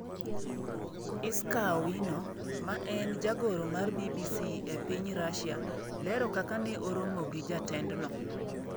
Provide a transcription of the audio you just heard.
Iscaa Owino, ma en jagoro mar BBC e piny Russia, lero kaka ne oromo gi jatendno.